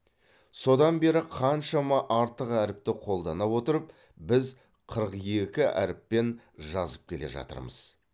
содан бері қаншама артық әріпті қолдана отырып біз қырық екі әріппен жазып келе жатырмыз